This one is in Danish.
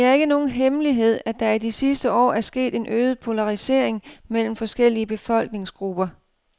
Det er ikke nogen hemmelighed, at der i de sidste år er sket en øget polarisering mellem forskellige befolkningsgrupper.